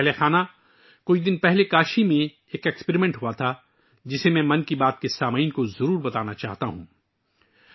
پریوار جنو، کچھ دن پہلے کاشی میں ایک تجربہ ہوا، جسے میں 'من کی بات' کے سننے والوں کے ساتھ ساجھا کرنا چاہتا ہوں